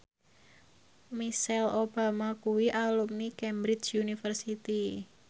Michelle Obama kuwi alumni Cambridge University